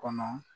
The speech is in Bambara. Kɔnɔ